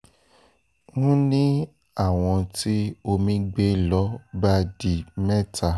n ní àwọn tí omi gbé ló bá di mẹ́ta